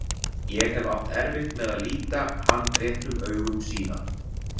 Ég hef átt erfitt með að líta hann réttum augum síðan.